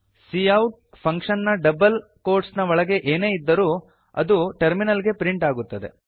cout function ನ double quotes ನ ಒಳಗೆ ಏನೇ ಇದ್ದರೂ ಅದು ಟರ್ಮಿನಲ್ ಗೆ ಪ್ರಿಂಟ್ ಆಗುತ್ತದೆ